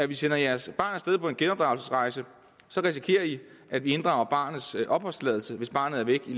i sender jeres barn af sted på en genopdragelsesrejse risikerer at vi inddrager barnets opholdstilladelse hvis barnet er væk i